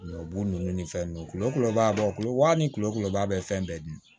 Ɲɔ b'u nunnu ni fɛn nunnu kulo kulobalo wa ni kulo kuleba bɛ fɛn bɛɛ dun